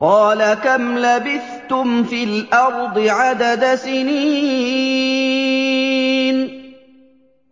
قَالَ كَمْ لَبِثْتُمْ فِي الْأَرْضِ عَدَدَ سِنِينَ